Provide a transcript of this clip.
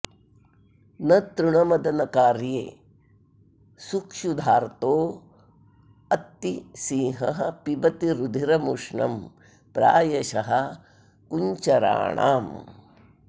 न तृणमदनकार्ये सुक्षुधार्तोऽत्ति सिंहः पिबति रुधिरमुष्णं प्रायशः कुञ्चराणाम्